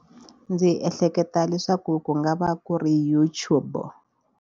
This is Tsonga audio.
Ndzi ehleketa leswaku ku nga va ku ri YouTube.